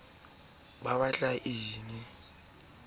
le barwetsana ban e ba